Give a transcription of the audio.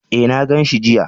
E, na gan shi jiya.